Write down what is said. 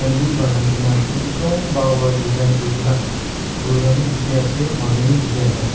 Bi banai kena ase ekdom bhal para design kuri kena phul khan bi dekhi ase manu bi dekhi ase.